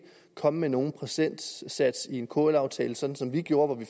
komme med nogen procentsats i en kl aftale som som vi gjorde hvor vi